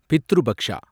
Pitru Paksha